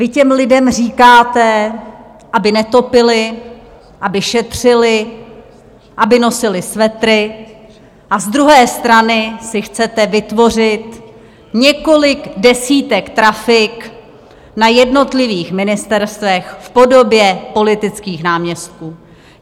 Vy těm lidem říkáte, aby netopili, aby šetřili, aby nosili svetry, a z druhé strany si chcete vytvořit několik desítek trafik na jednotlivých ministerstvech v podobě politických náměstků.